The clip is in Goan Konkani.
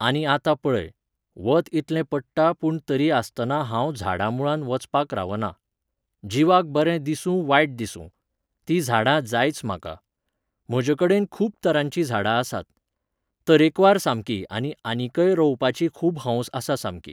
आनी आतां पळय, वत इतलें पडटा पूण तरी आसतना हांव झाडां मुळांत वचपाक रावना. जिवाक बरें दिसूं वायट दिसूं. ती झाडां जायच म्हाका. म्हजे कडेन खूब तरांची झाडां आसात. तरेकवार सामकीं आनी आनीकय रोवपाची खूब हौस आसा सामकी.